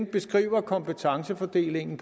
beskriver kompetencefordelingen